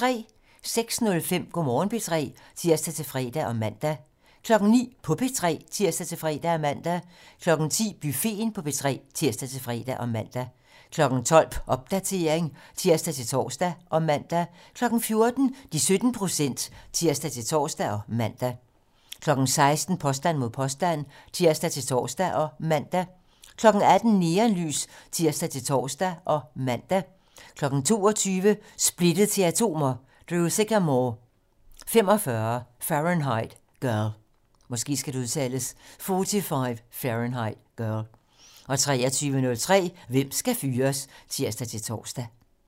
06:05: Go' Morgen P3 (tir-fre og man) 09:00: På P3 (tir-fre og man) 10:00: Buffeten på P3 (tir-fre og man) 12:00: Popdatering (tir-tor og man) 14:00: De 17 procent (tir-tor og man) 16:00: Påstand mod påstand (tir-tor og man) 18:00: Neonlys (tir-tor og man) 22:00: Splittet til atomer - Drew Sycamore: 45 Fahrenheit Girl 23:03: Hvem skal fyres? (tir-tor)